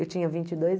Eu tinha vinte e dois